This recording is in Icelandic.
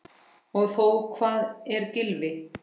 Og þó Hvað ef Gylfi.